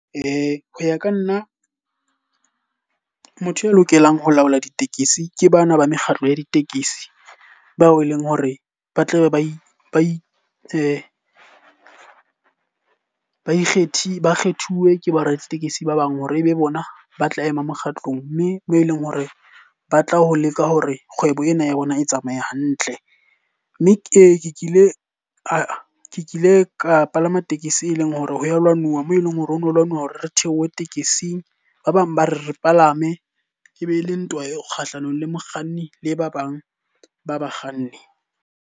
Ho ya ka nna, motho ya lokelang ho laola ditekesi ke bana ba mekgatlo ya ditekesi. Bao e leng hore ba tlabe ba itse ba ikgethile, ba kgethuwe ke boraditekesi ba bang hore e be bona ba tla ema mokgatlong. Mme moo e leng hore ba tla ho leka hore kgwebo ena ya bona e tsamaye hantle. Mme ee ke kile ke kile ka palama tekesi e leng hore ha ya lwanuwa, moo e leng hore o no lwanwa hore re theohe tekesing. Ba bang ba re re palame e be le ntwa e kgahlanong le mokganni le ba bang ba bakganni.